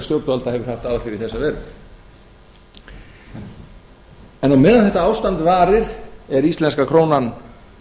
stjórnvalda hefur haft áhrif í þessa veru en á meðan þetta ástand varir er íslenska krónan